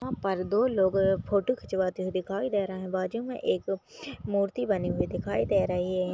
वहां पर दो लोग फोटो खिंचवाते हुए दिखाई दे रहे है बाजू में एक मूर्ति बनी हुई दिखाई दे रही है।